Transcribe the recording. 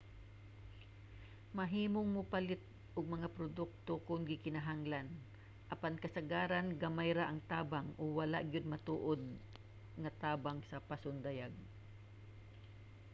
mahimong mopalit og mga produkto kon gikinahanglan apan kasagaran gamay ra ang tabang o wala gyud matuod nga tabang sa pasundayag